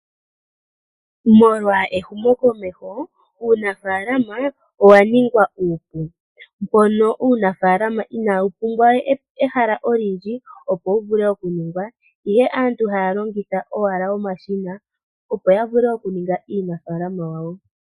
Molwa ehumokomeho, uunafaalama owa ningwa uupu, mono uunafaalama inawu pumbwa ehala olindji, opo wu vule okuningwa. Aantu ohaya longitha owala omashina, opo ya ninge uunafaalama wawo.